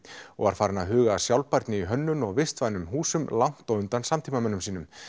og var farinn að huga að sjálfbærni í hönnun og vistvænum húsum langt á undan samtímamönnum sínum